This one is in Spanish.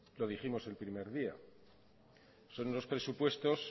lo dijimos el primer día son unos presupuestos